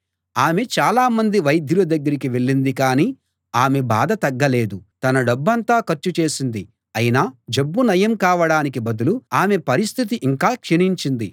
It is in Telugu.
ఆమె చాలామంది వైద్యుల దగ్గరికి వెళ్ళింది కాని ఆమె బాధ తగ్గలేదు తన డబ్బంతా ఖర్చు చేసింది అయినా జబ్బు నయం కావడానికి బదులు ఆమె పరిస్థితి ఇంకా క్షీణించింది